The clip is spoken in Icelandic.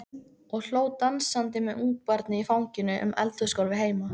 Og hló dansandi með ungabarnið í fanginu um eldhúsgólfið heima.